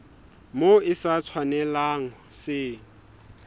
moo se sa tshwanelang se